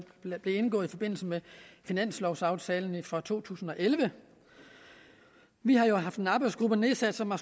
indgået i forbindelse med finanslovaftalen for to tusind og elleve vi har jo haft en arbejdsgruppe nedsat som har